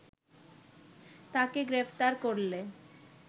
তাকে গ্রেপ্তার করলে